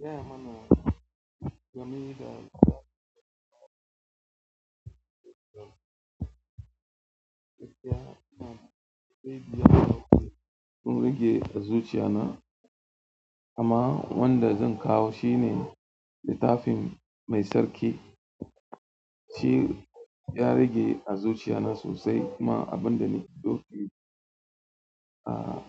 Gaya mana game da sun rage a zuciya na, amma wanda zan kawo shine littafin Mai Sarki. Shi ya rage a zuciya na sosai kuma abin da na dauki a